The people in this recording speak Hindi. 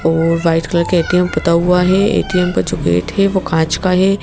और वाइट कलर के ए_टी_एम पता हुआ है ए_टी_एम का जो गेट है वो कांच का है।